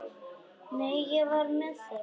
Nei, ég var með þeim.